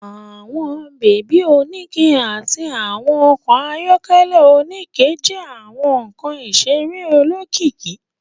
Àwọn baby onikẹ àti àwọn okò ayọkẹlẹ onikẹ jẹ àwọn nkán iṣere olókìkí